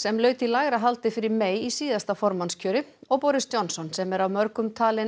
sem laut í lægra haldi fyrir May í síðasta formannskjöri og Boris Johnson sem er af mörgum talinn